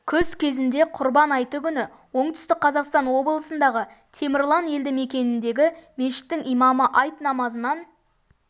жылғы күз кезінде құрбан айты күні оңтүстік қазақстан облысындағы темірлан елді мекеніндегі мешіттің имамы айт намазынан